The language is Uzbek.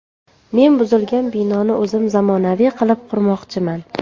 Men buzilgan binoni o‘zim zamonaviy qilib qurmoqchiman.